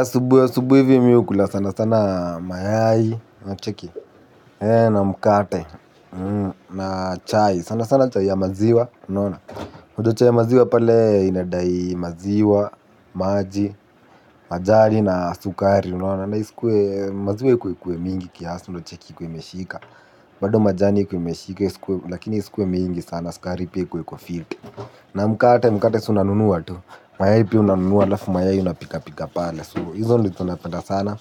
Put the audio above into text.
Asubuhi, asubuhi hivi mi hukula sana sana mayai, unacheki, na mkate, na chai, sana sana chai ya maziwa, unaona? Udo chai ya maziwa pale inadai maziwa, maji, majani na sukari, unona? Na iskwe, maziwe kwe kwe mingi kiasi una cheki ikuwe imeshika. Bado majani kwe meshika, iskwe mingi sana, skari pia kwe kwa filte. Na mkate, mkate su nanunuwa tu, maya ipi unanunuwa lafu maya yuna pika pika pale, su hizo nilito na penda sana.